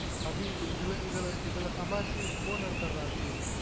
அபி இதுல இதுல சம்பாதிச்சு phone எடுத்துறலான் அபி